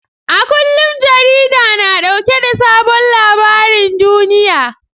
A kullum jarida na dauke da sabon labarin duniya.